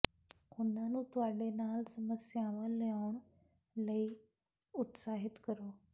ਉਨ੍ਹਾਂ ਨੂੰ ਤੁਹਾਡੇ ਨਾਲ ਸਮੱਸਿਆਵਾਂ ਲਿਆਉਣ ਲਈ ਉਤਸ਼ਾਹਿਤ ਕਰੋ